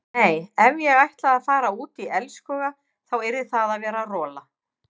Nei ef ég ætlaði að fara út í elskhuga þá yrði það að vera rola.